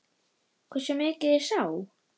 Hversu mikið ég sá?